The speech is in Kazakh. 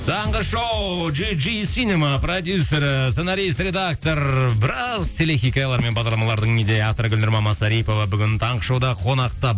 таңғы шоу джи джи синема продюссері сценарист редактор біраз телехикаялар мен бағдарламалардың идея авторы гүлнұр мамасарипова бүгін таңғы шоуда қонақта